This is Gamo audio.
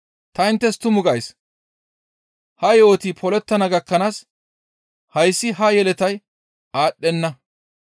Ta inttes tumu gays; ha yo7oti polettana gakkanaas hayssi ha yeletay aadhdhenna.